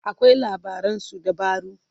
akwai labaran suddabaru